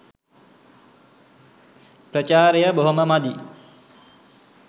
ප්‍රචාරය බොහොම මදි.